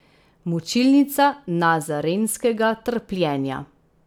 Mučilnica nazarenskega trpljenja!